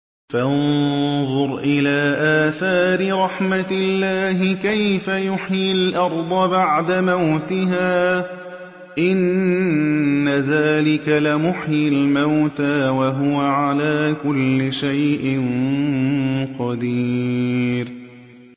فَانظُرْ إِلَىٰ آثَارِ رَحْمَتِ اللَّهِ كَيْفَ يُحْيِي الْأَرْضَ بَعْدَ مَوْتِهَا ۚ إِنَّ ذَٰلِكَ لَمُحْيِي الْمَوْتَىٰ ۖ وَهُوَ عَلَىٰ كُلِّ شَيْءٍ قَدِيرٌ